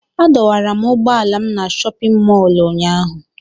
Adọwara m ụgbọala m na chọpịn mọọlụ ụnyaahụ.